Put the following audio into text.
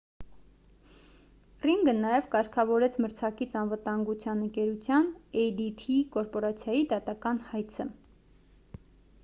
ռինգը նաև կարգավորեց մրցակից անվտանգության ընկերության էյ-դի-թի կորպորացիայի դատական հայցը